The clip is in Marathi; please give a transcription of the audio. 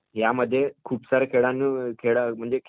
यामध्ये खूप साऱ्या खेळांमध्ये